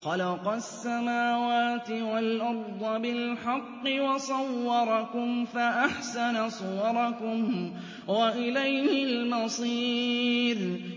خَلَقَ السَّمَاوَاتِ وَالْأَرْضَ بِالْحَقِّ وَصَوَّرَكُمْ فَأَحْسَنَ صُوَرَكُمْ ۖ وَإِلَيْهِ الْمَصِيرُ